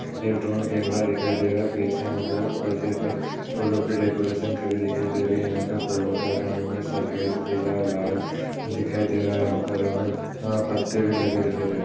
एक drone camera दिखाई दे रहा है पींछे हम लोग पर्दे पर फूलों की डेकोरेशन करी दिखाई दे रही है। यहाँ पे फूलों का रंग हमें सफेद पीला व लाल दिखाई दे रहा है यहां पर हमें पत्ते भी लगाए दिखाई दे रहे हैं।